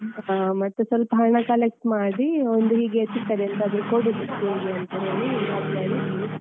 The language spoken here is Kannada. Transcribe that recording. ಹಾ ಮತ್ತೆ ಸ್ವಲ್ಪ ಹಣ collect ಮಾಡಿ ಒಂದು ಹೀಗೆ ಚಿಕ್ಕದೆಂತಾದ್ರು ಕೊಡುವ gift ಅಂತೇಳಿ .